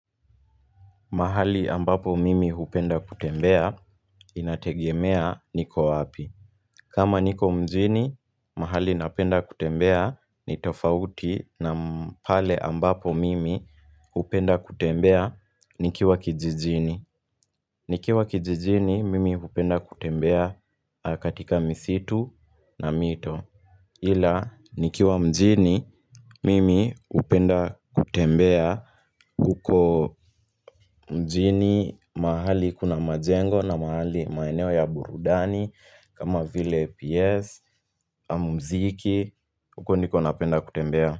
Mahali ambapo mimi hupenda kutembea, inategemea niko wapi. Kama niko mjini, mahali napenda kutembea ni tofauti na pale ambapo mimi hupenda kutembea nikiwa kijijini nikiwa kijijini, mimi hupenda kutembea katika misitu na mito. Ila, nikiwa mjini mimi hupenda kutembea huko mjini mahali kuna majengo na mahali maeneo ya burudani kama vile PS, ama muziki, huko ndiko napenda kutembea.